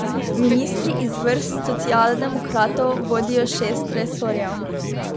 Ministri iz vrst socialdemokratov vodijo šest resorjev.